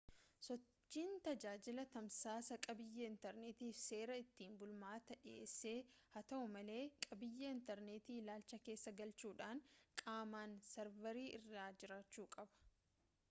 sochiin tajaajila tamsaasaa qabiiyyee intarneetiitiif seera ittiin bulmaataa dhiheesse haa ta'u malee qabiyyee intarneetii ilaalcha keessa galchuudhaan qaamaan sarvarii irra jiraachuu qaba